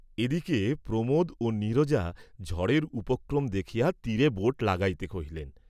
এদিকে প্রমোদ ও নীরজা ঝড়ের উপক্রম দেখিয়া তীরে বোট লাগাইতে কহিলেন।